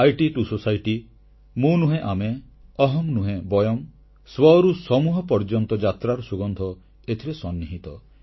IT to society ମୁଁ ନୁହେଁ ଆମେ ଅହମ୍ ନୁହେଁ ବୟମ୍ ସ୍ୱରୁ ସମୂହ ପର୍ଯ୍ୟନ୍ତ ଯାତ୍ରାର ସୁଗନ୍ଧ ଏଥିରେ ସନ୍ନିହିତ